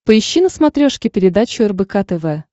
поищи на смотрешке передачу рбк тв